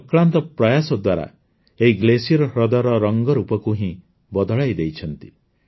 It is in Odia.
ସେ ଅକ୍ଳାନ୍ତ ପ୍ରୟାସ ଦ୍ୱାରା ଏହି ଗ୍ଲେସିୟର୍ ହ୍ରଦର ରଙ୍ଗରୂପକୁ ହିଁ ବଦଳାଇଦେଇଛନ୍ତି